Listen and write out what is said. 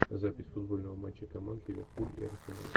запись футбольного матча команд ливерпуль и арсенал